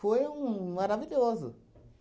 Foi um maravilhoso.